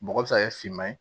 Bɔgɔ bɛ se ka kɛ finman ye